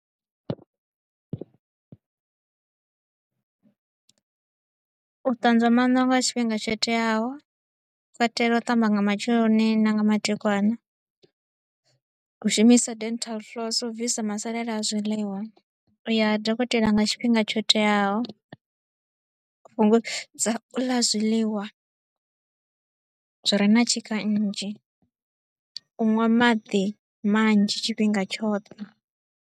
U ṱanzwa mano nga tshifhinga tsho teaho, u katela u ṱamba nga matsheloni na nga madekwana, u shumisa dental floss u bvisa masalela a zwiiḽiwa, u ya ha dokotela nga tshifhinga tsho teaho. U fhungudza u ḽa zwiḽiwa zwi re na tshika nnzhi, u ṅwa maḓi manzhi tshifhinga tshoṱhe.